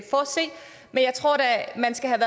man skal have